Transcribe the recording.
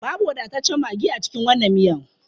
Babu wadataccen maggi a cikin wannan miyan.